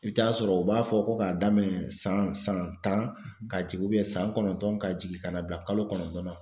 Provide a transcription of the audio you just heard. I bɛ taa sɔrɔ u b'a fɔ ko k'a daminɛ san san tan ka jigin san kɔnɔntɔn ka jigin ka na bila kalo kɔnɔntɔn na